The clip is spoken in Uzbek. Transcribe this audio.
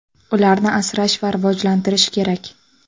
Ularni asrash va rivojlantirish kerak.